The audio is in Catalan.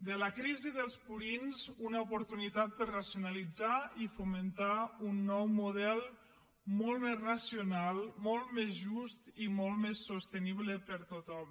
de la crisi dels purins una oportunitat per racionalitzar i fomentar un nou model molt més racional molt més just i molt més sostenible per a tothom